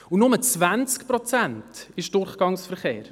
Nur 20 Prozent sind Durchgangsverkehr.